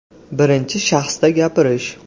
Birinchi shaxsda gapirish .